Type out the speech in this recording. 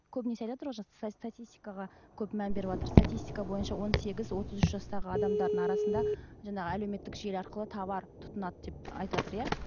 көбінесе айтыватр ғой статистикаға көп мән беріватыр статистка бойынша он сегіз отыз үш жастағы адамдардың арасында жаңағы әлеуметтік желі арқылы товар тұтынады деп айтыватр иә